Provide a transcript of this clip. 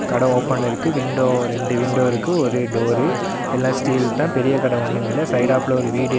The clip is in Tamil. கடை ஓபன்ல இருக்கு விண்டோ ரெண்டு விண்டோ இருக்கு ஒரு டோரு எல்லா ஸ்டீல் தா பெரிய கட ஒன்னுமில்ல சைடாப்ல ஒரு வீடு.